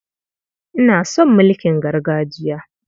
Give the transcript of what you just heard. Ina son mulkin gargajiya.